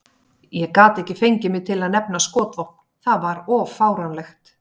Ég gat ekki fengið mig til að nefna skotvopn, það var of fáránlegt.